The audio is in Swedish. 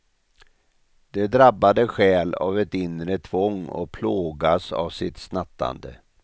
De drabbade stjäl av ett inre tvång och plågas av sitt snattande.